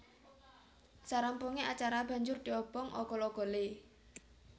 Sarampunge acara banjur diobong ogol ogole